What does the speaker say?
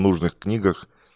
нужных книгах